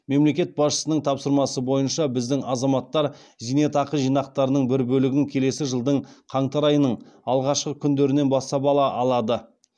мемлекет басшысының тапсырмасы бойынша біздің азаматтар зейнетақы жинақтарының бір бөлігін келесі жылдың қаңтар айының алғашқы күндерінен бастап ала алады